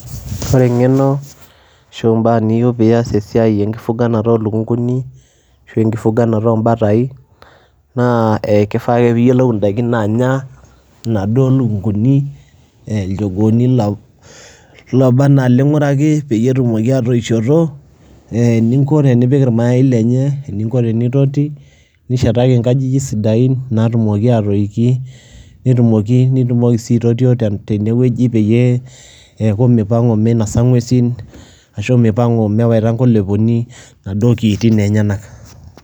ore engeno ashu ebae niyieu pee itumoki ataasa esiai enkifuganata oo lukunkuni, ashu enkifuganata oo batai, naa ekifaa ake pee iyiolu idaikin naanya, inaduo lukunkuni, ilchogooni looba anaa ilinguraki, peyie etumoki aatoishoto, ninko tenipik irmayai lenye, eninko tenintotti, nishetaki nkajijik sidain naatumoki aatoiki, netumoki nitumoki sii aitotio tene wueji peyie, eeku mipangu, minosa nguesin, ashu mipang'u mewaita nkoileponi, inauoo kiitin enyenak.